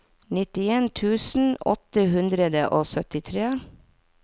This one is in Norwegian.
nittien tusen åtte hundre og syttitre